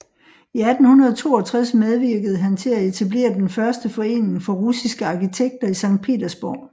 I 1862 medvirkede han til at etablere den første forening for russiske arkitekter i Sankt Petersborg